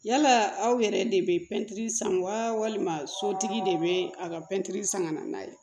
Yala aw yɛrɛ de bɛ pɛntiri san walima sotigi de bɛ a ka pɛntiri san ka na n'a ye